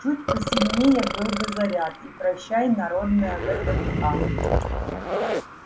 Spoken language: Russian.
чуть посильнее был бы заряд и прощай народная вднх